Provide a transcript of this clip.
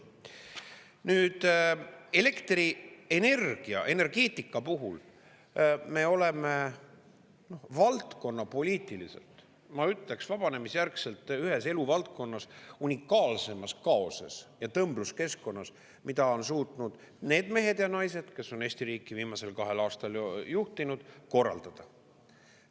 Nüüd, elektrienergia, energeetika puhul me oleme valdkonnapoliitiliselt, ma ütleks, vabanemisjärgselt ühes eluvaldkonnas unikaalseimas kaoses ja tõmbluskeskkonnas, mida on suutnud need mehed ja naised, kes on Eesti riiki viimasel kahel aastal juhtinud, korraldada.